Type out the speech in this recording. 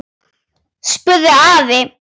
spurði afi.